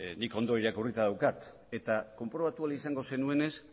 nik ondo irakurrita daukat eta konprobatu ahal izango zenuenez